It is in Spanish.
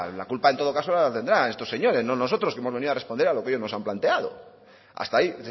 la culpa en todo caso la tendrán de estos señores no nosotros que hemos venido a responder a lo que ellos nos han planteado hasta ahí